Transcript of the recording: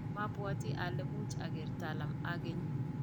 mabwatii ale much ager Talam ageny.